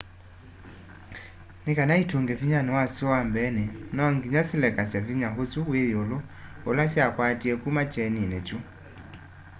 nikana itunge vinyani wasyo wa mbeeni no nginya silekasya vinya usu wi yiulu ula syakwatie kuma kyenini kyu